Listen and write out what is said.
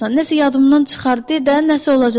Nəsə yadımdan çıxar, de də, nəsə olacaq.